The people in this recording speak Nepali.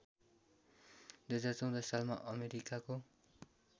२०१४ सालमा अमेरिकाको